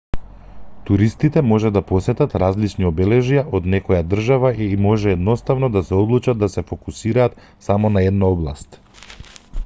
туристите може да посетат различни обележја од некоја држава или може едноставно да се одлучат да се фокусираат само на една област